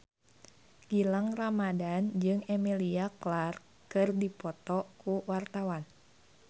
Gilang Ramadan jeung Emilia Clarke keur dipoto ku wartawan